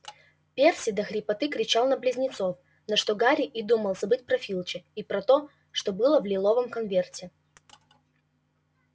перси до хрипоты кричал на близнецов на что гарри и думал забыть про филча и про то что было в лиловом конверте